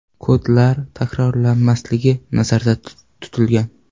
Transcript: Kodlar takrorlanmasligi nazarda tutilgan.